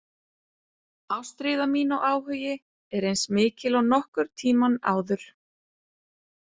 Ástríða mín og áhugi er eins mikil og nokkurn tíma áður.